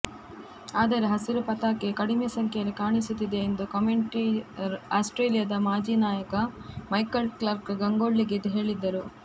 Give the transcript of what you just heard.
ಆದರೆ ಹಸಿರು ಪತಾಕೆ ಕಡಿಮೆ ಸಂಖ್ಯೆಯಲ್ಲಿ ಕಾಣಿಸುತ್ತಿದೆ ಎಂದು ಕಮೆಂಟೆಟರ್ ಆಸ್ಟ್ರೇಲಿಯಾದ ಮಾಜಿ ನಾಯಕ ಮೈಕೆಲ್ ಕ್ಲಾರ್ಕ್ ಗಂಗೂಲಿಗೆ ಹೇಳಿದ್ದರು